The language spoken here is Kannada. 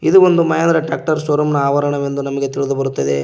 ಇದು ಒಂದು ಮಹೇಂದ್ರ ಟ್ರ್ಯಾಕ್ಟರ್ ಶೋರೂಮ್ ನಾ ಆವರಣ ಎಂದು ನಮಗೆ ತಿಳಿದು ಬರುತ್ತದೆ.